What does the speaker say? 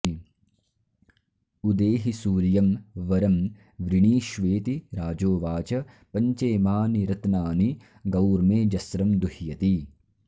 उदेहि सूर्यं वरं वृणीष्वेति राजोवाच पञ्चेमानि रत्नानि गौर्मेऽजस्रं दुह्यति